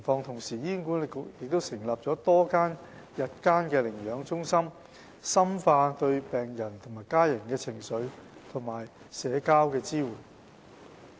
同時，醫管局成立了多間日間寧養中心，深化對病者和家人的情緒及社交支援。